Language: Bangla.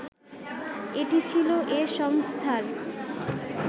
এটি ছিল এ সংস্থার